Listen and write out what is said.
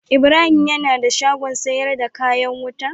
Ibrahim yana da shagon sayar da kayan wuta.